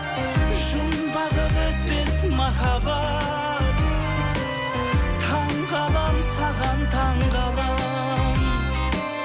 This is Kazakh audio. жұмбағы бітпес махаббат таңғаламын саған таңғаламын